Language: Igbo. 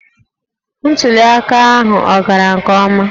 Ntuli aka ahụ ọ gara nke ọma?